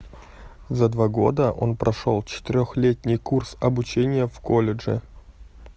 за два года он прошёл четырёхлетний курс обучения в колледже